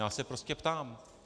Já se prostě ptám.